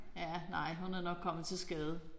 Ja nej hun er nok kommet til skade